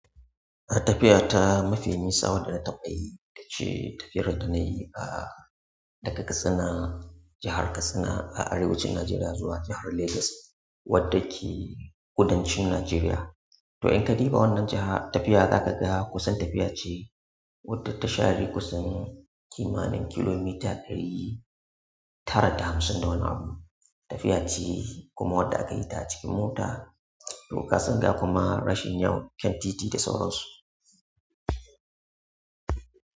Tafiya ta mafi nisa wadda na tau a yi ce tafiyar da nayi ah daga Katsina, jahar Katsina a arewacin Najeriya zuwa jahar Legas wadda ke kudancin Najeriya. To in ka diba wannan jahar tafiya zaka ga kusan tafiya ce wadda ta share kusan kimanin kilomita ɗari tara da hamsin da wani abu. Tafiya ce kuma wadda aka yi ta cikin mota, to kasan ga kuma rashin kyau, akan titi da sauransu.